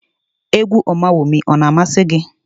Égwú Ọmawumi a na-amasị gị?